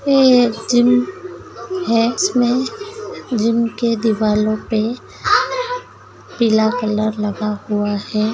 ये जिम है इसमें जिम के दीवालों पे पीला कलर लगा हुआ है।